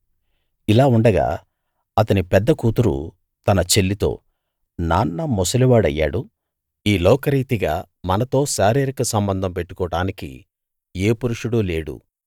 ఇలా ఉండగా అతని పెద్ద కూతురు తన చెల్లితో నాన్న ముసలివాడయ్యాడు ఈ లోకరీతిగా మనతో శారీరిక సంబంధం పెట్టుకోడానికి ఏ పురుషుడూ లేడు